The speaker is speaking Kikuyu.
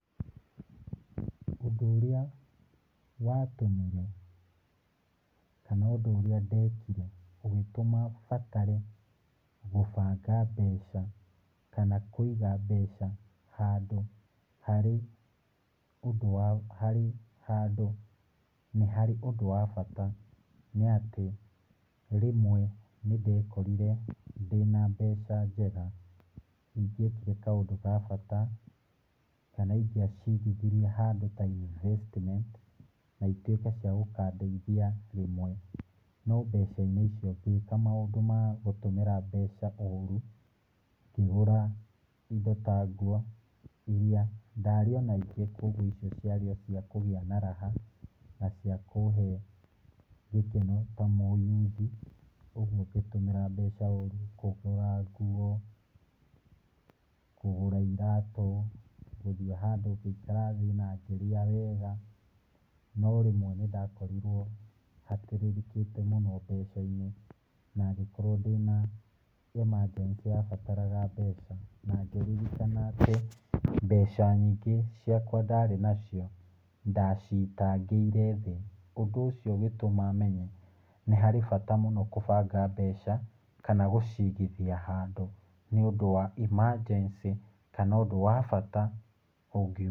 Ũndũ ũrĩa watũmĩre, kana ũndũ ũrĩa ndekire, ũgĩtũma batare gũbanga mbeca kana kũiga mbeca handũ harĩ ũndũ wa, harĩ handũ, nĩ harĩ ũndũ wa bata nĩatĩ, rĩmwe nĩ ndekorire ndĩna mbeca njega ingĩekire kaũndũ gabata kana ingĩacigithirie handũ ta investment na ituĩke cia gũkandeithia rĩmwe. No mbeca-inĩ icio ngĩka maũndũ ma gũtũmĩra mbeca ũru. Ngĩgũra indo ta nguo, iria ndarĩ naingĩ koguo nguo icio ciarĩ o ciakũgĩa na raha, na ciakũhe gĩkeno ta mũyuthi. Ũguo ngĩtũmĩra mbeca ũru, kũgũra nguo, kũgũra iratũ, gũthiĩ handũ ngĩrĩa wega. No rĩmwe nĩ ndakorirwo hatĩrĩrĩkĩte mũno mbeca-inĩ, na ngĩkorwo ndĩna emergency yabataraga mbeca. Na ngĩririkana atĩ, mbeca nyingĩ ciakwa ndarĩ nacio, ndacitangĩire thĩ. Ũndũ ũcio ũgĩtũma menye, nĩharĩ bata mũno gũbanga mbeca, kana gũciigithia handũ, nĩ ũndũ wa emergency kana ũndũ wa bata ũngiumĩ